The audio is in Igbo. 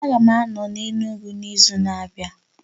A ga m ano na Enugwu n'izu na-abịa